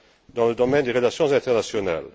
dans le domaine des relations internationales.